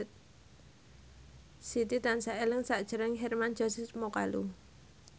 Siti tansah eling sakjroning Hermann Josis Mokalu